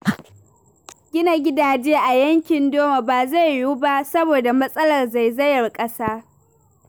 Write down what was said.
Gina gidaje a yankin Doma ba zai yiwu ba, saboda matsalar zaizayar ƙasa.